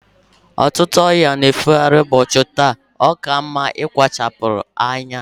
Ọtụtụ ọrịa na-efe gharị ụbọchị ndị a. Ọ ka mma ịkpachara anya